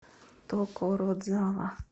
токородзава